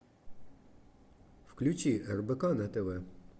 включи рбк на тв